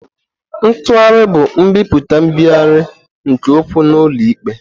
Ntugharị bụ nbipute nbigharị nke okwu n'ụlọ ikpe.